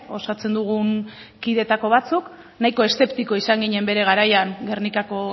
osatzen dugun kidetako batzuk nahiko eszeptiko izan ginen bere garaian gernikako